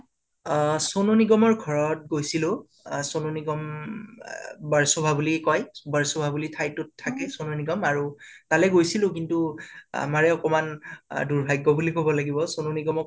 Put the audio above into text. অহ চনু নিগমৰ ঘাৰত গৈছিলোঁ আ চনু নিগম উম আহ বাৰ্চভা বুলি কয় বাৰ্চভা বুলি ঠাইতোত থাকে চনু নিগ আৰু তালে গৈছিলো । কিন্তু আমাৰে আকমান দুৰ্ভাগ্য় বুলি কব লাগিব । চনু নিগমক